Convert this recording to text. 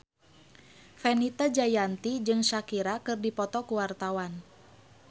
Fenita Jayanti jeung Shakira keur dipoto ku wartawan